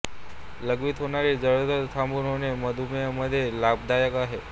लघवीत होणारी जळजळ थांबुन होणे मधुमेह मध्ये पण लाभदायक आहे